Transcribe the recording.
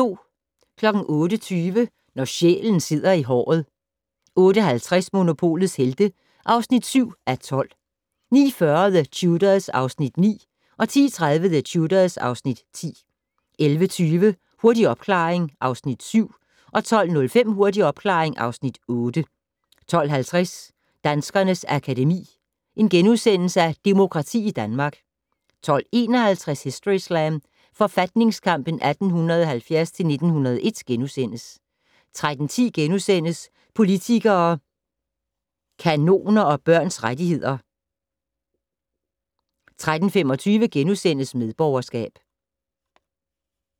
08:20: Når sjælen sidder i håret 08:50: Monopolets Helte (7:12) 09:40: The Tudors (Afs. 9) 10:30: The Tudors (Afs. 10) 11:20: Hurtig opklaring (Afs. 7) 12:05: Hurtig opklaring (Afs. 8) 12:50: Danskernes Akademi: Demokrati i Danmark * 12:51: Historyslam: Forfatningskampen 1870-1901 * 13:10: Politikere, kanoner og børns rettigheder * 13:25: Medborgerskab *